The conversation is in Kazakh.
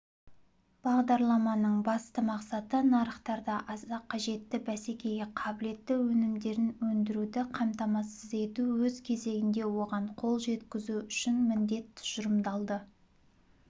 бағдарламаның басты мақсаты нарықтарда аса қажетті бәсекеге қабілетті өнімдерін өндіруді қамтамасыз ету өз кезегінде оған қол жеткізу үшін міндет тұжырымдалды